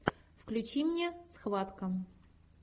включи мне схватка